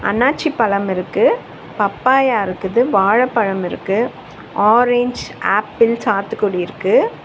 அண்ணாச்சி பழம் இருக்கு பப்பாயா இருக்குது வாழைப்பழம் இருக்கு ஆரஞ்சு ஆப்பிள் சத்துக்கொடி இருக்கு.